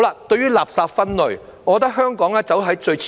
對於垃圾分類，我認為香港走在最前面。